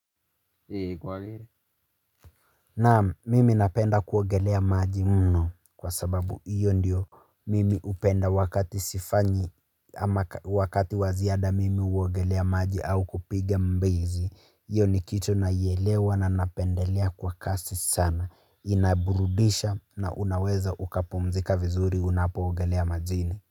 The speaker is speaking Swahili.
Ie kwa giri Naam mimi napenda kuogelea maji mno kwa sababu iyo ndio. Mimi upenda wakati sifanyi ama wakati wa ziada mimi huogelea maji au kupiga mbizi hiyo ni kitu naielewa na napendelea kwa kasi sana inaburudisha na unaweza ukapumzika vizuri unapoogelea majini.